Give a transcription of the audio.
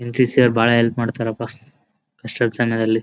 NCC ಅವರು ಬಹಳ help ಮಾಡ್ತಾರೆ ಪಾ ಕಷ್ಟದ ಸಮಯದಲ್ಲಿ .